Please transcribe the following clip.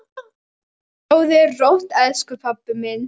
Sofðu rótt, elsku pabbi minn.